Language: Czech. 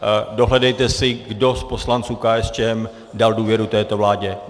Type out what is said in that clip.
Dohledejte si, kdo z poslanců KSČM dal důvěru této vládě.